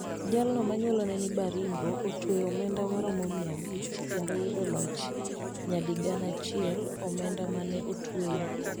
Jalno manyuola ne ni Baringo ne otweo omenda maromo miya abich kendo yudo loch nyadi gana achiel omenda mane otweyo